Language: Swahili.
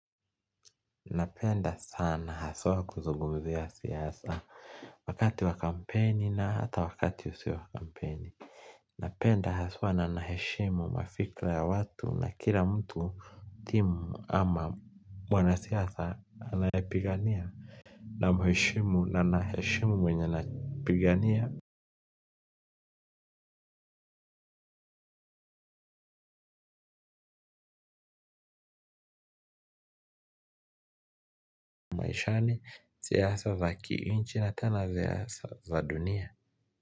Napenda sana haswa kuzugumzia siasa wakati wa kampeni na ata wakati usiwo wa kampeni napenda haswa na naheshimu mafikra ya watu na kila mtu timu ama mwana siasa anayepigania na mheshimu na naheshimu mwenye anapigania maishani siasa za ki nchi na tena siasa za dunia.